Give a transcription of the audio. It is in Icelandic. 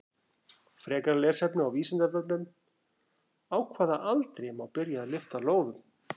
Frekara lesefni á Vísindavefnum: Á hvaða aldri má byrja að lyfta lóðum?